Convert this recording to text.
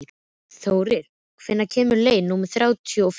Þóri, hvenær kemur leið númer þrjátíu og fimm?